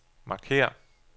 markér